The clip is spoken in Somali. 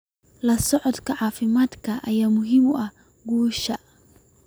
La socodka caafimaadka ayaa muhiim u ah guusha.